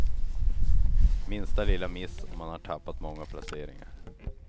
Minsta lilla miss och man har tappat många placeringar.